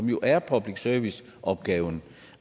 jo er public service opgaven